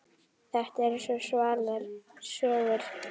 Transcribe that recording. Þetta eru svo svalar sögur.